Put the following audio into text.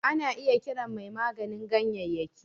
Ana iya kiran mai maganin ganyayyaki